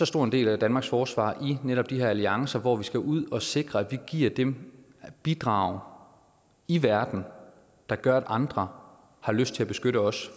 stor del af danmarks forsvar i netop de her alliancer hvor vi skal ud og sikre at vi giver dem bidrag i verden der gør at andre har lyst til at beskytte os